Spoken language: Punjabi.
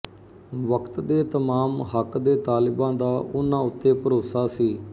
ਵਕ਼ਤ ਦੇ ਤਮਾਮ ਹੱਕ ਦੇ ਤਾਲਿਬਾਂ ਦਾ ਉਨ੍ਹਾਂ ਉੱਤੇ ਭਰੋਸਾ ਸੀ